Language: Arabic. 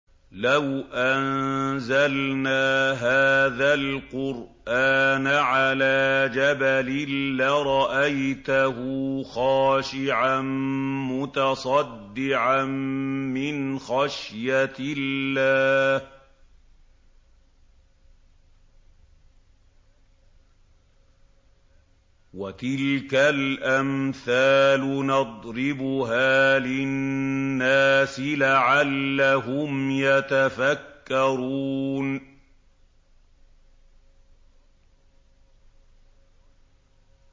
لَوْ أَنزَلْنَا هَٰذَا الْقُرْآنَ عَلَىٰ جَبَلٍ لَّرَأَيْتَهُ خَاشِعًا مُّتَصَدِّعًا مِّنْ خَشْيَةِ اللَّهِ ۚ وَتِلْكَ الْأَمْثَالُ نَضْرِبُهَا لِلنَّاسِ لَعَلَّهُمْ يَتَفَكَّرُونَ